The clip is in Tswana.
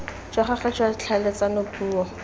jwa gagwe jwa tlhaeletsano puo